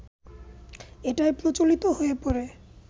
এতটাই প্রচলিত হয়ে পড়ে